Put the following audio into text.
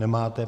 Nemáte.